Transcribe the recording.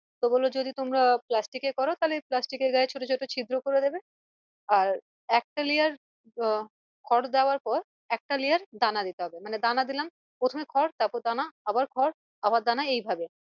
তো বললো যদি তোমরা plastic এ করো তালে plastic এর গায়ে ছোটো ছোট ছিদ্র করে দিবে আর একটা layer আহ খর দেওয়ার পর একটা layer দানা দিতে হবে মানে দানা দিলাম প্রথমে খর তারপর দানা আবার খর আবার দানা এইভাবে